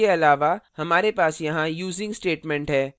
इसके अलावा हमारे पास यहाँ using statement है